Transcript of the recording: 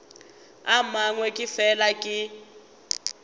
a mangwe ke fela ke